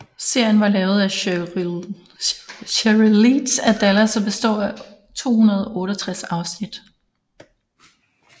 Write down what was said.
Serien var lavet af Sheryl Leach af Dallas og består af 268 afsnit